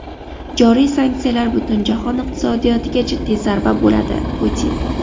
Joriy sanksiyalar butun jahon iqtisodiyotiga jiddiy zarba bo‘ladi – Putin.